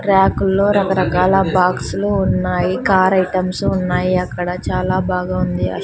ర్యాకుల్లో రకరకాల బాక్స్లు ఉన్నాయి కార్ ఐటమ్స్ ఉన్నాయి అక్కడ చాలా బాగా ఉంది.